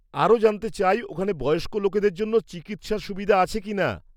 -আরও জানতে চাই, ওখানে বয়স্ক লোকেদের জন্য চিকিৎসার সুবিধা আছে কিনা?